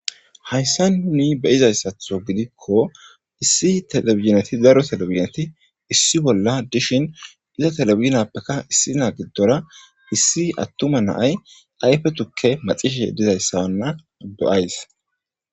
Hayssa nuni beizayssatho gidikko issi telebizneti daro telebineti issi bolla dishin iza telebiznappekka issi naa giddora issi attuma naay ayfetukke maxishe dizayssawanna do7ays